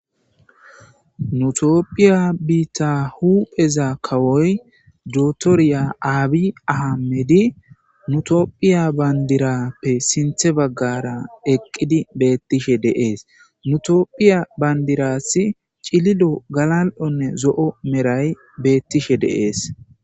nutopphiya biitta hupheza kawoy dotoriya aabi ahamedi nutopphiya bayndirappe sinthe baggara eqqidi beettishe deees nutopphiya bayndirassi cililo galal7onne zo7o meray beettishe deees